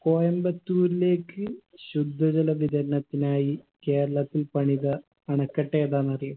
കോയമ്പത്തൂരിലേക്ക് ശുദ്ധജല വിതരണത്തിനായി കേരളത്തിൽ പണിത അണക്കെട്ടേതാന്നറിയോ